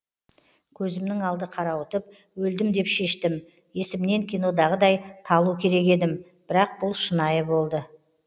көзімнің алды қарауытып өлдім деп шештім есімнен кинодағыдай талу керек едім бірақ бұл шынайы болды